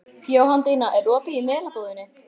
Jóhanndína, er opið í Melabúðinni?